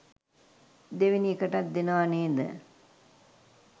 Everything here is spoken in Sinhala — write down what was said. දෙවෙනි එකටත් දෙනව නේද